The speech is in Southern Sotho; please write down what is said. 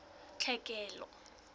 tlhekelo